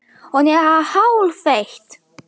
Hún er hálfeitt!